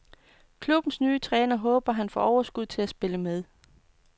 Klubbens nye træner håber han får overskud til at spille med.